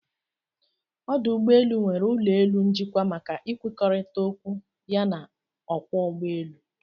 Ọdụ ụgbọelụ nwere ụlọ elu njikwa maka ịkwụkọrịta okwu ya na ọkwọ ụgbọ èlụ̀